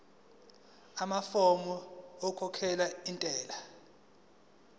amafomu okukhokhela intela